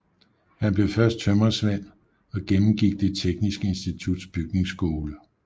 Han blev først tømrersvend og gennemgik Det Tekniske Instituts bygningsskole